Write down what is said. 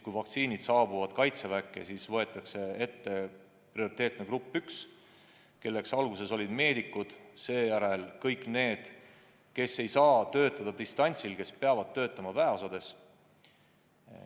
Kui vaktsiinid saabuvad Kaitseväkke, siis võetakse ette prioriteetne grupp 1, kelleks alguses olid meedikud, seejärel kõik need, kes ei saa töötada distantsilt, kes peavad töötama väeosades.